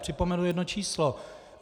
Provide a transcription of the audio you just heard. Připomenu jedno číslo.